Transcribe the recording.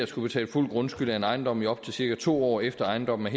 skulle betale fuld grundskyld af en ejendom i op til cirka to år efter at ejendommen er